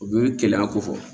O bɛ gɛlɛya ko fɔ